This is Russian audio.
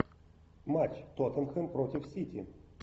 матч тоттенхэм против сити